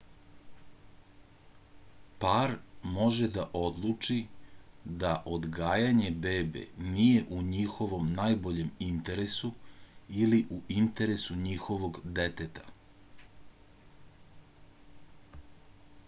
par može da odluči da odgajanje bebe nije u njihovom najboljem interesu ili u interesu njihovog deteta